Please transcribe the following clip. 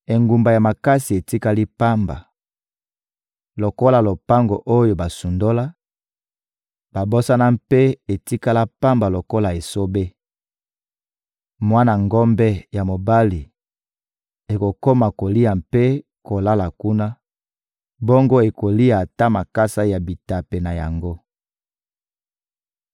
Engumba ya makasi etikali pamba lokola lopango oyo basundola, babosana mpe etikala pamba lokola esobe; mwana ngombe ya mobali ekokoma kolia mpe kolala kuna, bongo ekolia ata makasa ya bitape na yango.